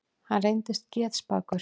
Hann reyndist getspakur.